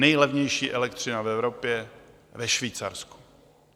Nejlevnější elektřina v Evropě - ve Švýcarsku.